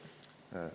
Aitäh!